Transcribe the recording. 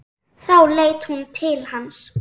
Þá leit hún til hans.